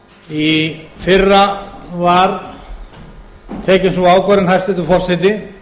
í fyrra var tekin sú ákvörðun hæstvirtur forseti